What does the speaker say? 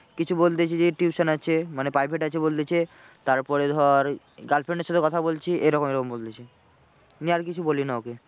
কিছু বলতে যাচ্ছি যেই tuition আছে মানে private আছে বলছে। তারপরে ধর girlfriend এর সঙ্গে কথা বলছি এরকম এরকম বলছে। নিয়ে আর কিছু বলি না ওকে।